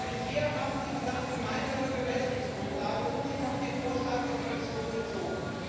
Bisher haben Sie gesagt, gemeinsame Bemessungsgrundlage, und sich auf den Vorschlag der Kommission bezogen.